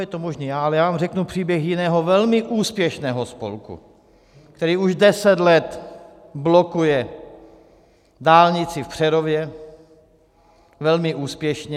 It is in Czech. Je to možné, ale já vám řeknu příběh jiného, velmi úspěšného spolku, který už 10 let blokuje dálnici v Přerově, velmi úspěšně.